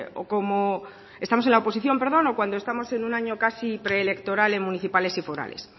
o como estamos en la oposición perdón o cuando estamos en un año casi preelectoral en municipales y forales